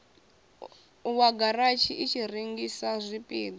wa garatshi i rengisaho zwipida